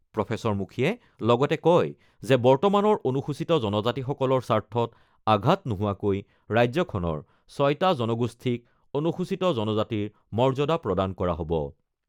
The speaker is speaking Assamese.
প্ৰফেচৰ মুখীয়ে লগতে কয় যে বৰ্তমানৰ অনুসূচিত জনজাতিসকলৰ স্বাৰ্থত আঘাত নোহোৱাকৈ ৰাজ্যখনৰ ৬টা জনগোষ্ঠীক অনুসূচিত জনজাতিৰ মৰ্য্যাদা প্ৰদান কৰা হ'ব।